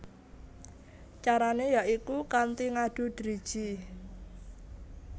Carané ya iku kanthi ngadu driji